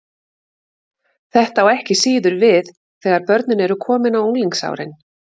Þetta á ekki síður við þegar börnin eru komin á unglingsárin.